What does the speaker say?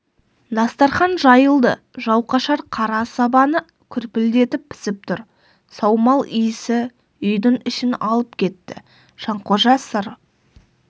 дастархан жайылды жауқашар қара сабаны күрпілдетіп пісіп тұр саумал иісі үйдің ішін алып кетті жанқожа сыр